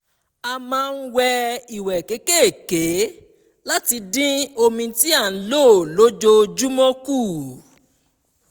a máa n wẹ ìwẹ̀ kékèké láti dín omi tí à ń lò lójoojúmọ́ kù